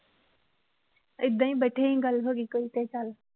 ਏਦਾਂ ਹੀ ਬੈਠੀ ਗੱਲ ਹੋ ਗਈ ਕੋਈ ਤੇ ਚੱਲ,